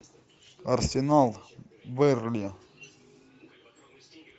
арсенал бернли